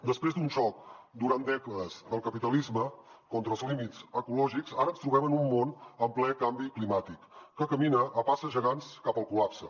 després d’un xoc durant dècades del capitalisme contra els límits ecològics ara ens trobem en un món en ple canvi climàtic que camina a passes gegants cap al col·lapse